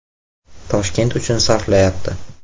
Toshkent uchun sarflayapti.